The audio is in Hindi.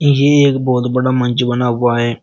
ये एक बहोत बड़ा मंच बना हुआ है।